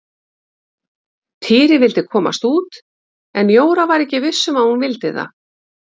Týri vildi komast út en Jóra var ekki viss um að hún vildi það.